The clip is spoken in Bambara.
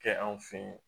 Kɛ anw fe ye